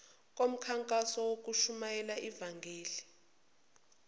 komkhankaso wokushumayela ivangeli